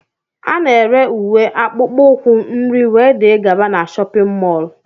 Ana ere ùwé, akpụkpọ ukwu, nri wdg na shóppin mol